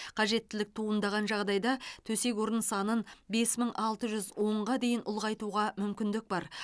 қажеттілік туындаған жағдайда төсек орын санын бес мың алты жүз онға дейін ұлғайтуға мүмкіндік бар